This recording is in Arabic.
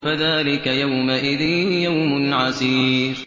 فَذَٰلِكَ يَوْمَئِذٍ يَوْمٌ عَسِيرٌ